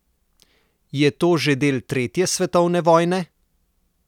Je to že del tretje svetovne vojne?